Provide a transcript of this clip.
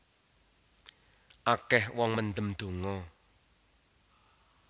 Akeh wong mendem donga